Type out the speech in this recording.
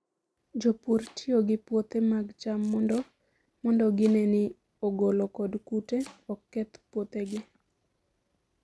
Jopur tiyo gi puothe mag cham mondo gine ni ogolo kod kute ok keth puothegi.